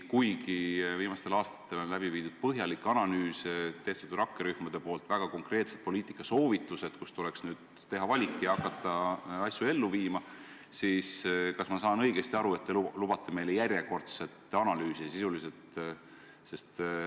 Kuigi viimastel aastatel on läbi viidud põhjalik analüüs, rakkerühmad on andnud väga konkreetsed poliitikasoovitused, mille hulgast tuleks nüüd teha valik ja hakata asju ellu viima, siis te justkui lubate meile sisuliselt järjekordset analüüsi.